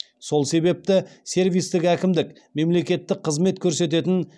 сол себепті сервистік әкімдік мемлекеттік қызмет көрсететін